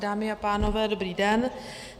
Dámy a pánové, dobrý den.